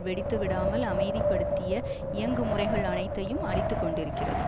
வெடித்து விடாமல் அமைதிப்படுத்திய இயங்கு முறைகள் அனைத்தையும் அழித்து கொண்டிருக்கிறது